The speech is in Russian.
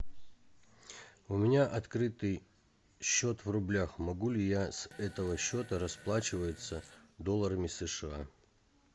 у меня открытый счет в рублях могу ли я с этого счета расплачиваться долларами сша